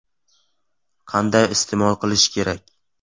Qanday iste’mol qilish kerak?